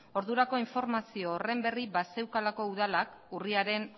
ordurako informazio horren berri bazeukalako udalak urriaren